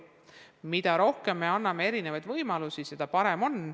Mida rohkem me anname erinevaid võimalusi, seda parem on.